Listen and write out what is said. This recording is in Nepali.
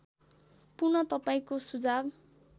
पुन तपाईँंको सुझाव